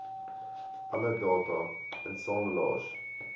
alle data insamelaars